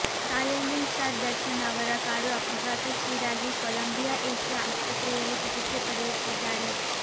challenging star Darshan ಅವರ car ಅಪಘಾತಕ್ಕೀಡಾಗಿ Columbia Asia ಆಸ್ಪತ್ರೆಯಲ್ಲಿ ಚಿಕಿತ್ಸೆ ಪಡೆಯುತ್ತಿದ್ದಾರೆ